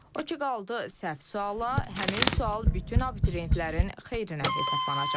O ki qaldı səhv suala, həmin sual bütün abituriyentlərin xeyrinə hesablanacaq.